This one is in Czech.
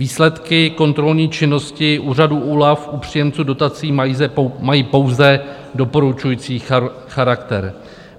Výsledky kontrolní činnosti úřadu OLAF u příjemců dotací mají pouze doporučující charakter.